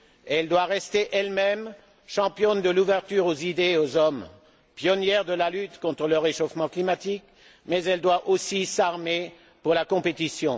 Elle doit rester elle même, championne de l'ouverture aux idées et aux hommes, pionnière de la lutte contre le réchauffement climatique, mais elle doit aussi s'armer pour la compétition.